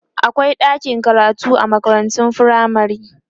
akwai ɗakin karatu a makarantun firamare